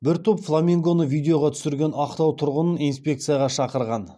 бір топ фламингоны видеоға түсірген ақтау тұрғынын инспекцияға шақырған